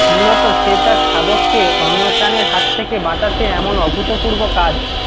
মূলত সে তার শাবককে অন্য প্রাণীর হাত থেকে বাঁচাতে এমন অভূতপূর্ব কাজ